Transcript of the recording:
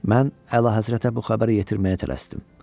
Mən əlahəzrətə bu xəbəri yetirməyə tələsdim.